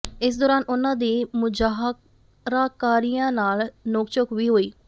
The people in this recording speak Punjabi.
ਇਸ ਦੌਰਾਨ ਉਨ੍ਹਾਂ ਦੀ ਮੁਜ਼ਾਹਰਾਕਾਰੀਆਂ ਨਾਲ ਨੋਕ ਝੋਕ ਵੀ ਹੋਈ